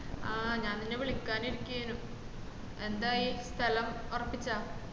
ആഹ് ഞാൻ നിന്നെ വിളിക്കാൻ ഇരിക്കെയ്‌നും എന്തായി സ്തലം ഒറപ്പിച്ചോ